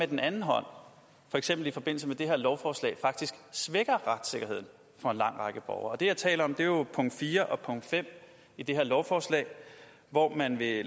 den anden hånd for eksempel i forbindelse med det her lovforslag faktisk svækker retssikkerheden for en lang række borgere det jeg taler om er jo punkt fire og punkt fem i det her lovforslag hvor man vil